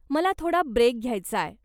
मला थोडा ब्रेक घ्यायचाय.